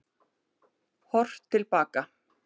Horft til baka